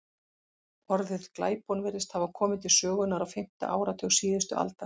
Orðið glæpon virðist hafa komið til sögunnar á fimmta áratug síðustu aldar.